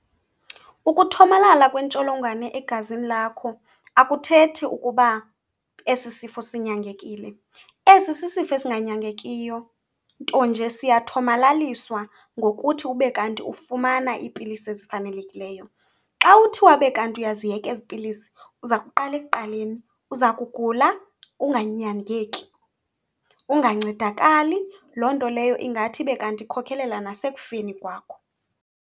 Ukuthomalala kwentsholongwane egazini lakho akuthethi ukuba esi sifo sinyangekile. Esi sisifo ezinganyangekiyo nto nje siyathomalaliswa ngokuthi ube kanti ufumana iipilisi ezifanelekileyo. Xa uthi wabe kanti iyaziyeka ezi pilisi uza kuqala ekuqaleni, uza kugula unganyangeki, ungancedakali. Loo nto leyo ingathi ibe kanti ikhokelela nasekufeni kwakho.